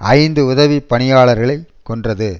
ஐந்து உதவி பணியாளர்களை கொன்றது